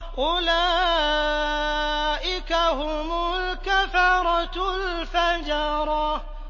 أُولَٰئِكَ هُمُ الْكَفَرَةُ الْفَجَرَةُ